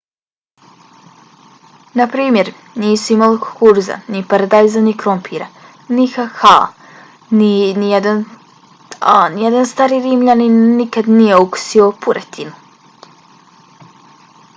naprimjer nisu imali kukuruza ni paradajza ni krompira ni kakaa a nijedan stari rimljanin nikada nije okusio puretinu